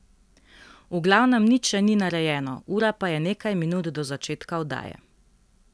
V glavnem nič še ni narejeno, ura pa je nekaj minut do začetka oddaje.